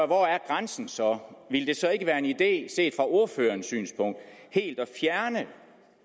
hvor er grænsen så ville det så ikke være en idé set fra ordførerens synspunkt helt at fjerne